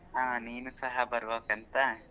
ಹಾ ನೀನು ಸಹ ಬರ್ಬೇಕಂತ.